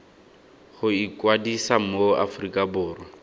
go ikwadisa mo aforika borwa